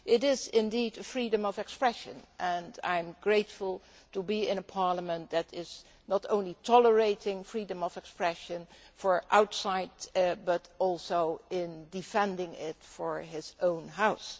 This is indeed freedom of expression, and I am grateful to be in a Parliament that not only tolerates freedom of expression outside, but also defends it in its own House.